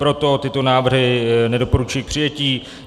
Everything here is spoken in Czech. Proto tyto návrhy nedoporučuji k přijetí.